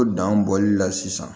O dan bɔli la sisan